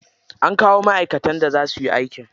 An kawo ma'aikatan da za suyi aiki.